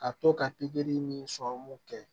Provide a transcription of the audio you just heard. Ka to ka pikiri ni kɛ